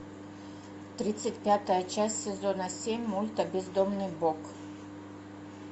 тридцать пятая часть сезона семь мульта бездомный бог